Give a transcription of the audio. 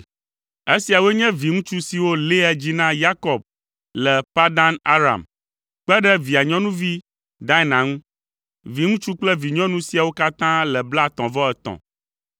Esiawoe nye viŋutsu siwo Lea dzi na Yakob le Padan Aram, kpe ɖe via nyɔnuvi Dina ŋu. Viŋutsu kple vinyɔnu siawo katã le blaetɔ̃-vɔ-etɔ̃.